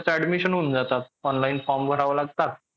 admission होऊन जातात online form भरावा लागतात.